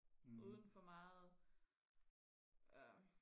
uden for meget øh